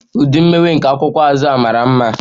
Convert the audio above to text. The imewe nke a akwụkwọ cover bụ mara mma.